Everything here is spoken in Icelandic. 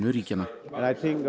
ríkjanna að